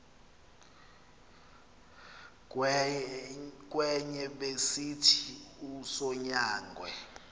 kwenye besithi usonyangwe